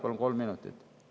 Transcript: Palun kolm minutit!